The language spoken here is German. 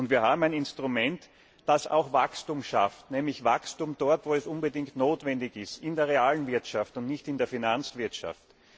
Und wir haben ein Instrument, das auch Wachstum schafft, nämlich dort, wo es unbedingt notwendig ist in der realen Wirtschaft und nicht in der Finanzwirtschaft.